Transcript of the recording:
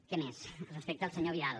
què més respecte al senyor vidal